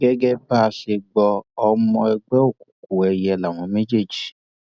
gẹgẹ bá a ṣe gbọ ọmọ ẹgbẹ òkùnkùn èìyẹ làwọn méjèèjì